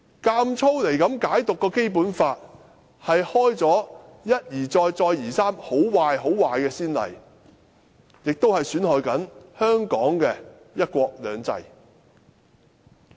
硬要這樣解讀《基本法》，是一而再、再而三地開創很壞、很壞的先例，也是在損害香港的"一國兩制"。